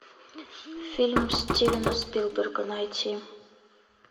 фильм стивена спилберга найти